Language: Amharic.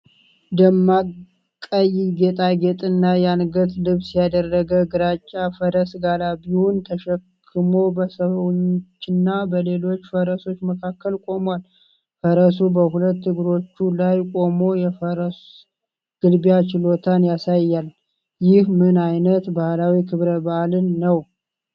ደማቅ ቀይ ጌጣጌጥና የአንገት ልብስ ያደረገ ግራጫ ፈረስ ጋላቢውን ተሸክሞ በሰዎችና በሌሎች ፈረሶች መካከል ቆሟል። ፈረሱ በሁለት እግሮቹ ላይ ቆሞ የፈረስ ግልቢያ ችሎታን ያሳያል። ይህ ምን ዓይነት ባህላዊ ክብረ በዓል ነው?